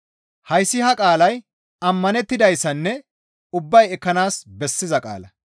Hayssi ha qaalay ammanettidayssanne ubbay ekkanaas bessiza qaala.